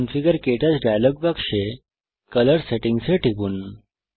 configure KTouch dialog বাক্সে colour settings এ টিপুন